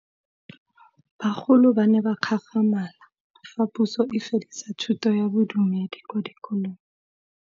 Bagolo ba ne ba gakgamala fa Pusô e fedisa thutô ya Bodumedi kwa dikolong.